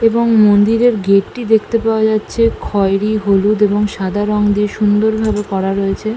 এবং মন্দিরের গেট -টি দেখতে পাওয়া যাচ্ছে খয়রি হলুদ এবং সাদা রঙ দিয়ে সুন্দরভাবে করা রয়েছে।